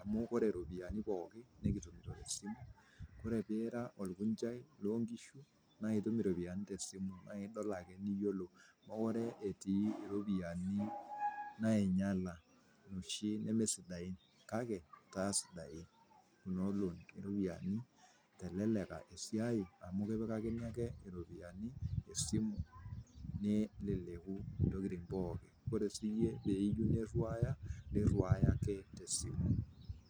amuu kore iropiyiani pooki nikitumuto te esimu, kore piira ilkunchai loo inkishu naa itum iropiyiani te esimu naa idol ake niyiolou, mekore etii iropiyiani nainyala noshii nemesidain kake kesidain kuna olong'i iropiyiani eteleleka esiai amu ikilakini ake iropiyiani te esimu neleleku intokitin pooki, kore sii iyie peeyeu niruaya, niruaya ake te esimu